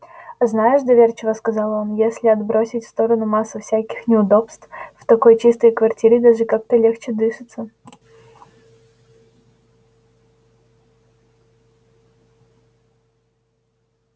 а знаешь доверчиво сказал он если отбросить в сторону массу всяких неудобств в такой чистой квартире даже как-то легче дышится